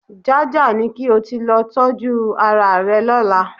Jájà ni kí o ti lọ tọ́jú araàrẹ lọ́la